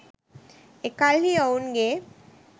එකල්හි ඔවුන්ගේ